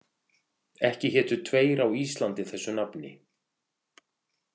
Ekki hétu tveir á Íslandi þessu nafni.